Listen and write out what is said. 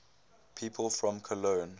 people from cologne